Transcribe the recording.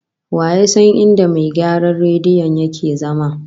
Wa ya san inda mai gyaran rediyon yake zama?